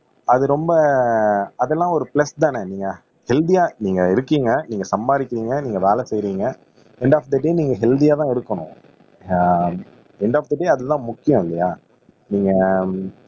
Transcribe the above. அது ரொம்ப அதெல்லாம் ஒரு பிளஸ் தானே நீங்க ஹெல்த்தியா நீங்க இருக்கீங்க நீங்க சம்பாதிக்கிறீங்க நீங்க வேலை செய்யறீங்க எண்டு ஆப் தி டே நீங்க ஹெல்த்தியா தான் இருக்கணும் ஆஹ் எண்டு ஆப் தி டே அதுதான் முக்கியம் இல்லையா நீங்க